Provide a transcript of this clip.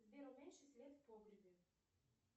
сбер уменьши свет в погребе